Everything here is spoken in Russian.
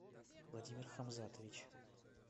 владимир хамзатович